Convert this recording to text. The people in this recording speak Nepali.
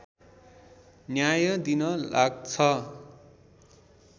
न्याय दिन लाग्छ